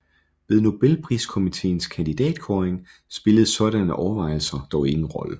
Ved nobelpriskommiteens kandidatkåring spillede sådanne overvejelser dog ingen rolle